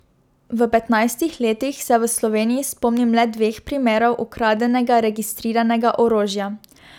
V petnajstih letih se v Sloveniji spomnim le dveh primerov ukradenega registriranega orožja.